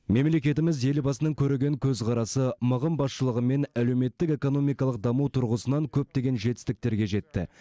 мемлекетіміз елбасының көреген көзқарасы мығым басшылығымен әлеуметтік экономикалық даму тұрғысынан көптеген жетістіктерге жетті